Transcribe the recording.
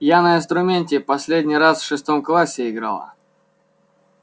я на инструменте последний раз в шестом классе играла